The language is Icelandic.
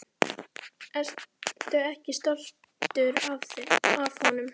Ertu ekki stoltur af honum?